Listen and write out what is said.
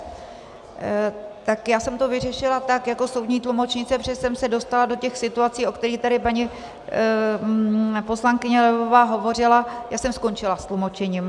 Tak já jsem to vyřešila tak jako soudní tlumočnice, protože jsem se dostala do těch situací, o kterých tady paní poslankyně Levová hovořila - já jsem skončila s tlumočením.